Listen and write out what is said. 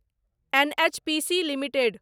NHPC limited